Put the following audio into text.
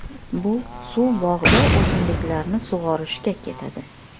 Bu suv bog‘da o‘simliklarni sug‘orishga ketadi.